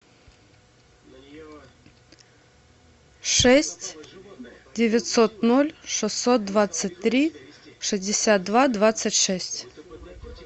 шесть девятьсот ноль шестьсот двадцать три шестьдесят два двадцать шесть